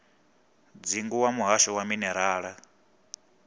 dzingu wa muhasho wa minerala